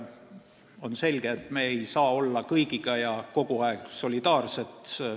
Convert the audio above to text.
On selge, et me ei saa olla kõigiga ja kogu aeg solidaarsed.